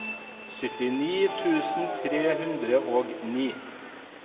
syttini tusen tre hundre og ni